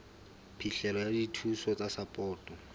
phihlelo ya dithuso tsa sapoto